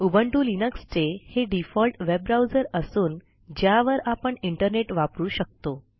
Ubuntu Linux चे हे default web browser असून ज्यावर आपण इंटरनेट वापरू शकतो